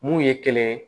Mun ye kelen ye